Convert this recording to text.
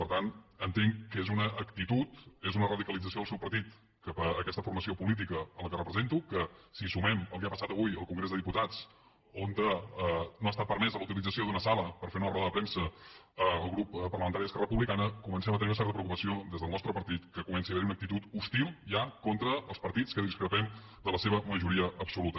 per tant entenc que és una actitud és una radicalització del seu partit cap a aquesta formació política a la qual represento que si sumem el que ha passat avui al congrés dels diputats on no ha estat permesa la utilització d’una sala per fer una roda de premsa al grup parlamentari d’esquerra republicana comencem a tenir una certa preocupació des del nostre partit que comenci a haver hi una actitud hostil ja contra els partits que discrepem de la seva majoria absoluta